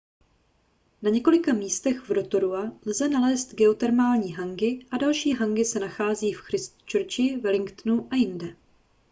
na několika místech v rotorua lze nalézt geotermální hangi a další hangi se nachází v christchurchi wellingtonu a jinde